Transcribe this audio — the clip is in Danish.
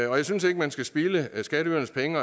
jeg synes ikke man skal spilde skatteydernes penge